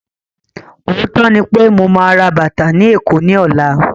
Ọ̀ọ́tọ́ ní pé mo ma rà bàtà ni Èkó ni ọ̀la